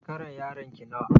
Shekarar yaron ki nawa?